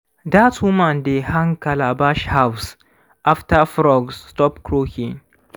dat woman dey hang calabash halves after frogs stop croaking.